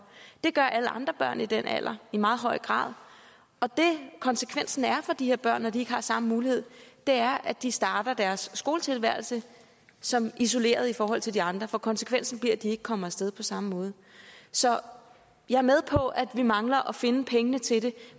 det gør alle andre børn i den alder i meget høj grad og det konsekvensen er for de her børn når de ikke har samme mulighed er at de starter deres skoletilværelse som isolerede i forhold til de andre for konsekvensen bliver at de ikke kommer af sted på samme måde så jeg er med på at vi mangler at finde pengene til det